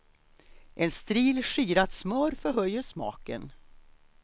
En stril skirat smör förhöjer smaken.